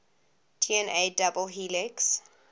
dna double helix